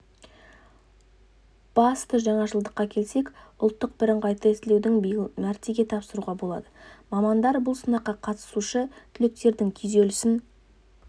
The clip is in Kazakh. басты жаңашылдыққа келсек ұлттық бірыңғай тестілеуді биыл мәрте тапсыруға болады мамандар бұл сынаққа қатысушы түлектердің күйзелісін